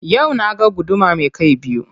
Yau na ga guduma me kai biyu.